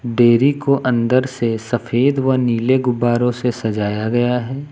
Dairy को अंदर से सफेद व नीले गुब्बारों से सजाया गया है।